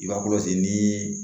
I b'a nii